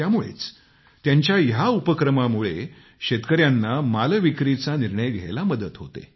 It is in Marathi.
त्यामुळेच त्यांच्या या उपक्रमामुळे शेतकऱ्यांना मालविक्रीचा निर्णय घ्यायला मदत होते